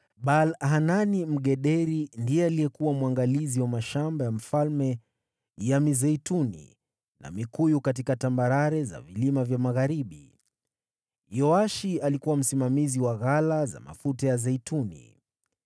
Baal-Hanani Mgederi ndiye alikuwa mwangalizi wa mashamba ya mfalme ya mizeituni na mikuyu katika tambarare za vilima vya magharibi. Yoashi alikuwa msimamizi wa ghala za mafuta ya zeituni.